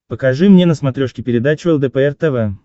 покажи мне на смотрешке передачу лдпр тв